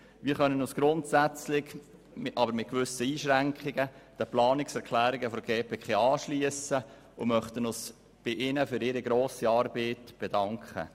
Wir können uns den Planungserklärungen der GPK grundsätzlich mit gewissen Einschränkungen anschliessen und möchten uns bei Ihnen für Ihre grosse Arbeit bedanken.